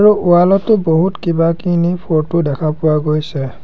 Wall টো বহুত কিবাকিনি ফটো দেখা পোৱা গৈছে।